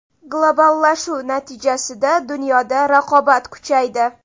Globallashuv natijasida dunyoda raqobat kuchaydi.